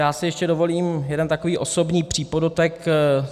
Já si ještě dovolím jeden takový osobní přípodotek.